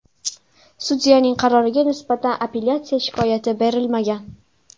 Sudyaning qaroriga nisbatan apellyatsiya shikoyati berilmagan.